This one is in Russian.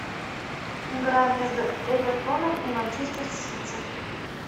игра между эвертоном и манчестер сити